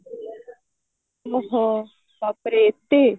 ଓଃ ହୋ ବାପରେ ଏତେ